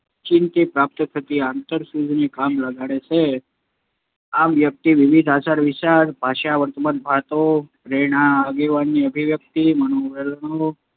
ઓચિંતી પ્રાપ્ત થતી આંતરસૂઝને કામે લગાડે છે. આમ વ્યક્તિ વિવિધ આચાર વિચાર, ભાષા, વર્તનભાતો, પ્રેરણા, આવેગની અભિવ્યક્તિ, મનોવલણો